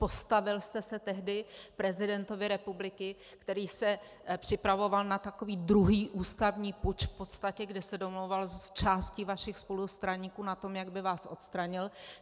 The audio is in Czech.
Postavil jste se tehdy prezidentovi republiky, který se připravoval na takový druhý ústavní puč v podstatě, kde se domlouval s částí vašich spolustraníků na tom, jak by vás odstranil.